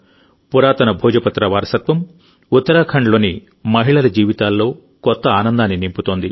పురాతన భోజపత్ర వారసత్వం ఉత్తరాఖండ్లోని మహిళల జీవితాల్లో కొత్త ఆనందాన్ని నింపుతోంది